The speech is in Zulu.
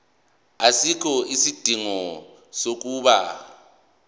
asikho isidingo sokuba